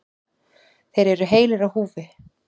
Þeir eru heilir á húfi.